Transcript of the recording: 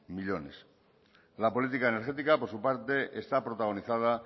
millónes la política energética por su parte está protagonizada